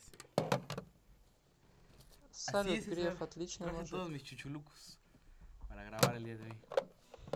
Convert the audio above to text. салют греф отличный мужик